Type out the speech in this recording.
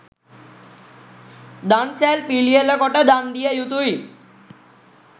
දන්සැල් පිළියෙල කොට දන් දිය යුතුයි